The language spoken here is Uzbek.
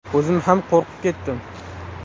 O‘zim ham qo‘rqib ketdim.